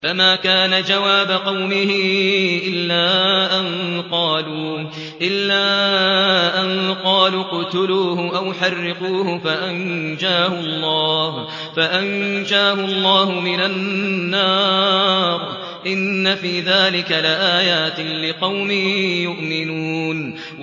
فَمَا كَانَ جَوَابَ قَوْمِهِ إِلَّا أَن قَالُوا اقْتُلُوهُ أَوْ حَرِّقُوهُ فَأَنجَاهُ اللَّهُ مِنَ النَّارِ ۚ إِنَّ فِي ذَٰلِكَ لَآيَاتٍ لِّقَوْمٍ يُؤْمِنُونَ